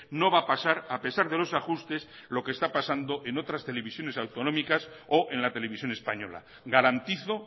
no va a pasar a pesar de los ajustes lo que está pasando en otras televisiones autonómicas o en la televisión española garantizo